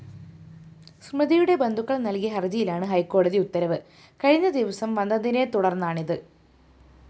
സ്മിതയുടെ ബന്ധുക്കള്‍ നല്‍കിയ ഹര്‍ജിയിലാണ് ഹൈക്കോടതി ഉത്തരവ് കഴിഞ്ഞദിവസം വന്നതിനെതുടര്‍ന്നാണിത്